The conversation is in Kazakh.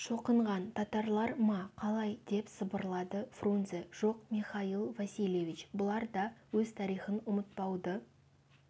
шоқынған татарлар ма қалай деп сыбырлады фрунзе жоқ михаил васильевич бұлар да өз тарихын ұмытпауды